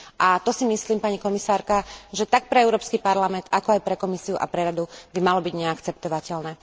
A to si myslím, pani komisárka, že tak pre Európsky parlament, ako aj pre Komisiu a pre Radu by malo byť neakceptovateľné.